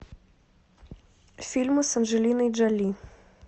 фильмы с анджелиной джоли